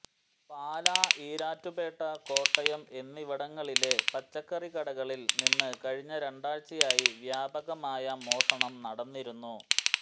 പാലാ ഈരാറ്റ്പേട്ട കോട്ടയം എന്നിവിടങ്ങളിലെ പച്ചക്കറികടകളിൽ നിന്ന് കഴിഞ്ഞ രണ്ടാഴ്ചയായി വ്യാപകമായ മോഷണം നടന്നിരുന്നു